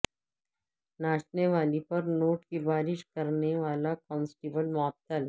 ناچنے والی پر نوٹ کی بارش کرنیوالا کانسٹیبل معطل